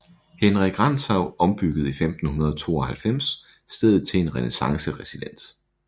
Henrik Rantzau ombyggede i 1592 stedet til en renæssanceresidens